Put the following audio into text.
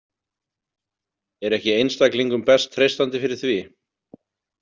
Er ekki einstaklingum best treystandi fyrir því?